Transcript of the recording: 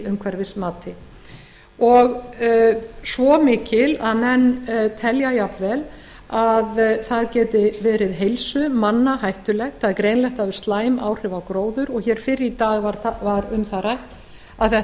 umhverfismati og svo mikil að menn telja jafnvel að það geti verið heilsu manna hættulegt það er greinilegt að það hefur slæm áhrif á gróður og hér fyrr í dag var um það rætt að þetta